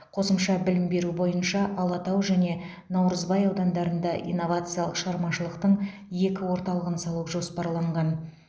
қосымша білім беру бойынша алатау және наурызбай аудандарында инновациялық шығармашылықтың екі орталығын салу жоспарланған